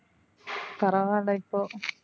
பரவாயில்ல இப்போ.